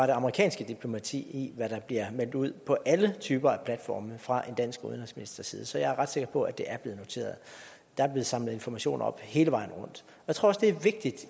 det amerikanske diplomati i hvad der bliver meldt ud på alle typer af platforme fra en dansk udenrigsministers side så jeg er ret sikker på at det er blevet noteret der er blevet samlet informationer op hele vejen rundt jeg tror også det er vigtigt